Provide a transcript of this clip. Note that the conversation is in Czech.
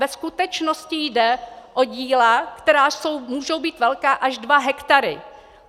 Ve skutečnosti jde o díla, která můžou být velká až dva hektary.